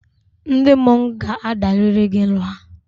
Ndị mmọnwụ ga-adarịrị gị nha!